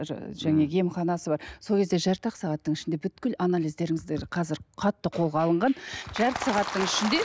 жаңағы емханасы бар сол кезде жарты ақ сағаттың ішінде анализдеріңізді қазір қатты қолға алынған жарты сағаттың ішінде